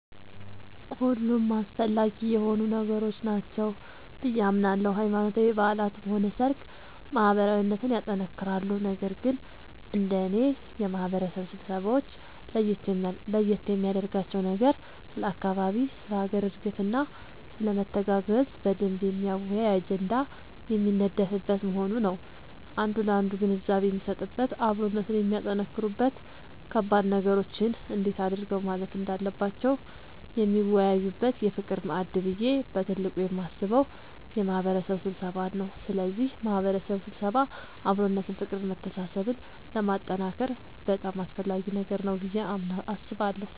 ሁሉም አስፈላጊ የሆኑ ነገሮች ናቸው ብዬ አምናለሁ ሃይማኖታዊ በዓላትም ሆነ ሰርግ ማህበራዊነትን ያጠነክራሉ ነገር ግን እንደኔ የማህበረሰብ ስብሰባወች ለየት የሚያደርጋቸው ነገር ስለ አካባቢ ስለ ሀገር እድገትና ስለመተጋገዝ በደንብ የሚያወያይ አጀንዳ የሚነደፍበት መሆኑ ነዉ አንዱ ላንዱ ግንዛቤ የሚሰጥበት አብሮነትን የሚያጠነክሩበት ከባድ ነገሮችን እንዴት አድርገው ማለፍ እንዳለባቸው የሚወያዩበት የፍቅር ማዕድ ብዬ በትልቁ የማስበው የማህበረሰብ ስብሰባን ነዉ ስለዚህ የማህበረሰብ ስብሰባ አብሮነትን ፍቅርን መተሳሰብን ለማጠንከር በጣም አስፈላጊ ነገር ነዉ ብዬ አስባለሁ።